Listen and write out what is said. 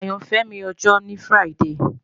Ayanfẹ mi ọjọ ni Friday